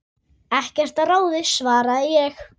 Ekkert að ráði svaraði ég.